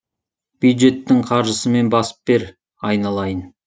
бюджеттің қаржысымен басып бер айналайын